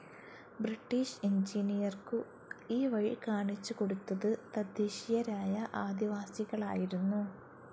British എഞ്ചിനീയർക്കു ഈ വഴി കാണിച്ചു കൊടുത്തത് തദ്ദേശീയരായ ആദിവാസികളായിരുന്നു.